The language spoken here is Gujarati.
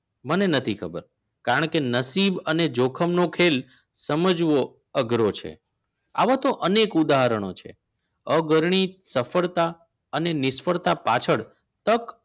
મને નથી ખબર કારણ કે નસીબ અને જોખમનો ખેલ સમજવો અઘરો છે આવા તો અનેક ઉદાહરણો છે અગર ની સફળતા અને નિષ્ફળતા પાછળ તક